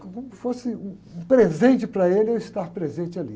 Como se fosse um presente para ele eu estar presente ali.